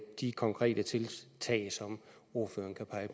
de konkrete tiltag som ordføreren kan pege